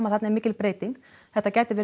þarna er mikli breyting þetta gæti